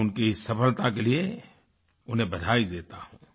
मैं उनकी इस सफ़लता के लिए उन्हें बधाई देता हूँ